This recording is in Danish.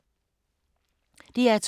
DR2